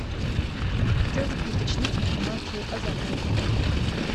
хотелось бы уточнить информацию о заказе